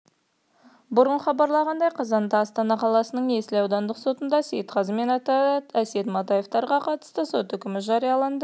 бұрын хабарланғандай қазанда астана қаласының есіл аудандық сотында сейтқазы мен әсет матаевтарға қатысты сот үкімі жарияланды